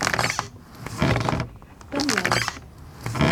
пэнлай